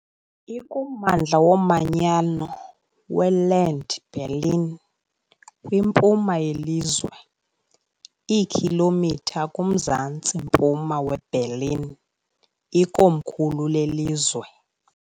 Ikummandla womanyano weLand Berlin, kwimpuma yelizwe, iikhilomitha kumzantsi-mpuma weBerlin, ikomkhulu lelizwe.